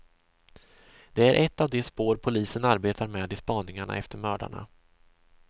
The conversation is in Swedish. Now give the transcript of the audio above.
Det är ett av de spår polisen arbetar med i spaningarna efter mördarna.